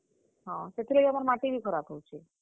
ହଁ, ସେଥରେ ଗଲା, ମାଟି ବି ଖରାପ୍ ହେଉଛେ।